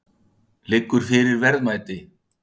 Jóhann: Liggur fyrir verðmæti?